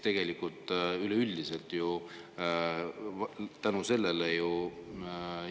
Tegelikult üleüldiselt ju kasvavad.